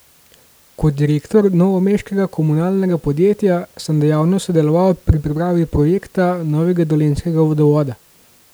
Kot direktor novomeškega komunalnega podjetja sem dejavno sodeloval pri pripravi projekta novega dolenjskega vodovoda.